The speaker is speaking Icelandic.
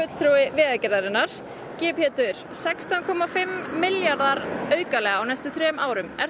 Vegagerðarinnar Pétur sextán komma fimm milljarðar aukalega á næstu þremur árum er